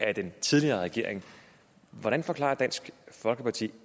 af den tidligere regering hvordan forklarer dansk folkeparti